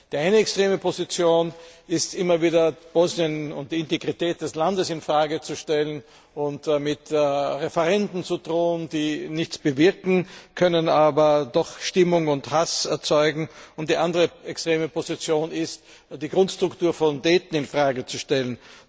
Die eine extreme Position ist, immer wieder Bosnien und die Integrität des Landes in Frage zu stellen und mit Referenden zu drohen, die nichts bewirken können, aber doch Stimmung und Hass erzeugen, und die andere extreme Position ist, die Grundstruktur von Dayton in Frage zu stellen.